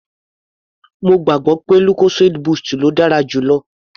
Mo gbàgbọ́ pé lucozade boost ló dára jù lọ.